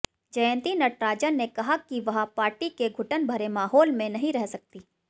जयंती नटराजन ने कहा कि वह पार्टी के घुटन भरे माहौल में नहीं रह सकतीं